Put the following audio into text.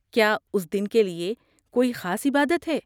کیا اس دن کے لیے کوئی خاص عبادت ہے؟